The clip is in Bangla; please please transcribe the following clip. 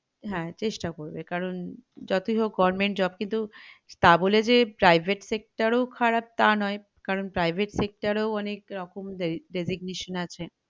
হ্যাঁ চেষ্টা করবে কারণ যতই হোক government job কিন্তু তা বলে যে private sector ও খারাপ তা নয় কারণ private sector এও অনেকরকম regignation আছে